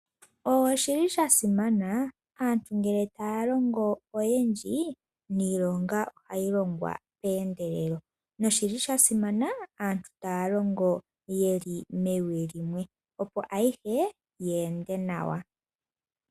Oshili shasimana ngele aantu taya lingo oyendji niilonga ohayi longo peendelelo noshili shasimana aantu taya longo yeli mewi limwe opo ayihe yeende nawa.